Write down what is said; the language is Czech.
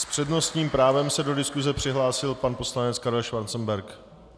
S přednostním právem se do diskuse přihlásil pan poslanec Karel Schwarzenberg.